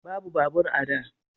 Babu babur a da